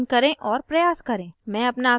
आप दोबारा login करें और प्रयास करें